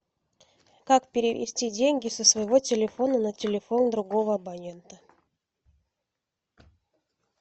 как перевести деньги со своего телефона на телефон другого абонента